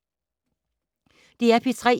DR P3